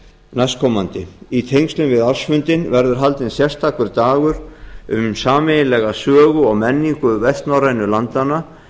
næstkomandi í tengslum við ársfundinn verður haldinn sérstakur dagur um sameiginlega sögu og menningu vestnorrænu landanna